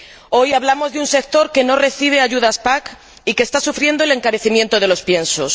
Hoy hablamos de un sector que no recibe ayudas de la PAC y que está sufriendo el encarecimiento de los piensos.